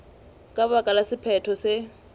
ka baka la sephetho se